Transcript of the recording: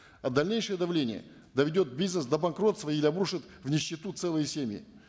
а дальнейшее давление доведет бизнес до банкротства или обрушит в нищету целые семьи